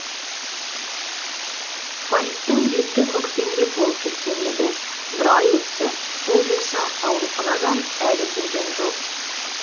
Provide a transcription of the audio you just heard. фариттің беті көкпеңбек болып кеткен еді бір ай өтті ол болса ауруханадан әлі келген жоқ